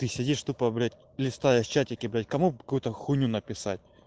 ты тупо блять листаешь чатике блять кому какую-то хуйню написать